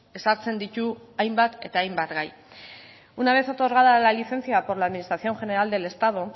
ezartzen ditu hainbat eta hainbat gai una vez otorgada la licencia por la administración general del estado